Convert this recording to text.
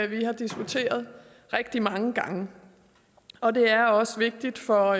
vi har diskuteret rigtig mange gange og det er også vigtigt for